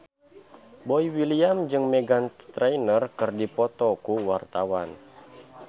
Boy William jeung Meghan Trainor keur dipoto ku wartawan